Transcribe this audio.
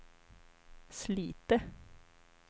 Slite